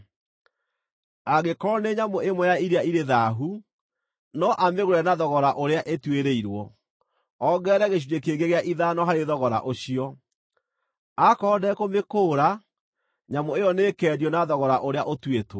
Angĩkorwo nĩ nyamũ ĩmwe ya iria irĩ thaahu, no amĩgũre na thogora ũrĩa ĩtuĩrĩirwo, ongerere gĩcunjĩ kĩngĩ gĩa ithano harĩ thogora ũcio. Aakorwo ndekũmĩkũũra, nyamũ ĩyo nĩĩkeendio na thogora ũrĩa ũtuĩtwo.